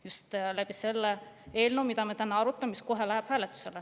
Just selle eelnõu tõttu, mida me täna arutame ja mis kohe läheb hääletusele.